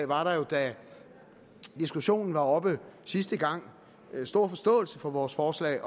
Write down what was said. var der jo da diskussionen var oppe sidste gang stor forståelse for vores forslag